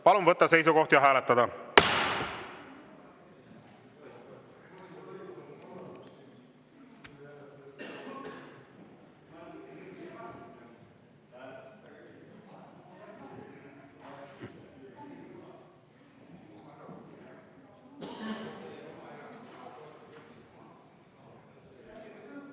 Palun võtta seisukoht ja hääletada!